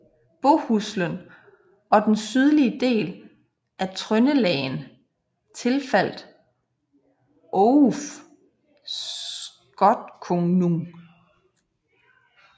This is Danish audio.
Bohuslen og den sydlige del af Trøndelagen tilfaldt Ouof Skotkonung